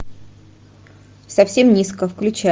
совсем низко включай